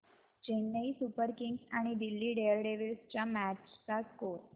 Chennai Super Kings आणि Delhi Daredevils च्या match चा स्कोअर